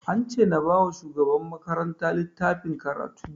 An ce na ba wa shugabar makaranta littafin karatun